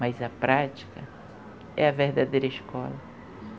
Mas a prática é a verdadeira escola.